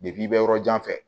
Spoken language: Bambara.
i bɛ yɔrɔ jan fɛ